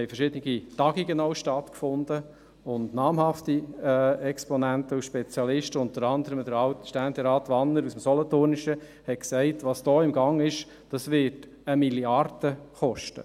Es haben auch verschiedene Tagungen stattgefunden mit namhaften Exponenten und Spezialisten, unter anderem Alt-Ständerat Wanner aus dem Solothurnischen, der sagte, was hier im Gange sei, werde 1 Mrd. Franken kosten.